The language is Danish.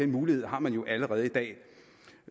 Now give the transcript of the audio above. mulighed har man jo allerede i dag